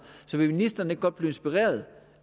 så vil ministeren ikke godt blive inspireret